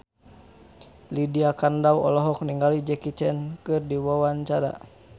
Lydia Kandou olohok ningali Jackie Chan keur diwawancara